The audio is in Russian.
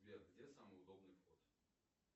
сбер где самый удобный вход